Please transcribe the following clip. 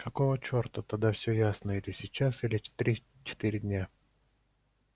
какого черта тогда все ясно или сейчас или через три-четыре дня